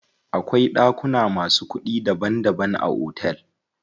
Akwai ɗakuna masu kuɗi daban daban a otel.